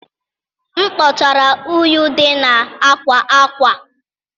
M kpochara unyi dị na akwa akwa.